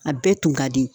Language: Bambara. A bɛɛ tun ka di